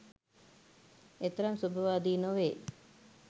එතරම්ම සුබවාදී නොවේ.